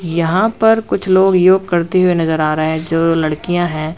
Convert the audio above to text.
यहां पर कुछ लोग योग करते हुए नजर आ रहे जो लड़कियां हैं।